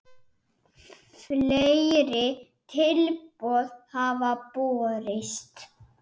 Fleiri tilboð hafa borist.